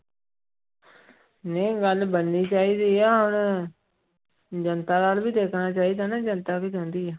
ਨਹੀਂ ਗੱਲ ਬਣਨੀ ਚਾਹੀਦੀ ਹੈ ਹੁਣ ਜਨਤਾ ਵੱਲ ਵੀ ਦੇਖਣਾ ਚਾਹੀਦਾ ਨਾ ਜਨਤਾ ਕੀ ਚਾਹੁੰਦੀ ਆ।